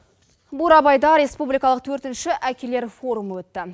бурабайда республикалық төртінші әкелер форумы өтті